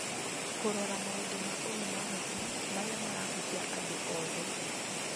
Kũrora maũndũ ma ũgima wa hakiri marĩa marahutia andũ othe.